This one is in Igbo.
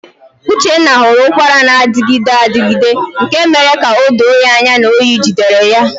Uchenna hụrụ ụkwara na-adịgide adịgide nke mere ka o doo anya na oyi jidere ya.